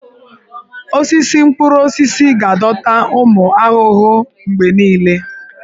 Osisi mkpụrụ osisi ga-adọta ụmụ ahụhụ mgbe niile.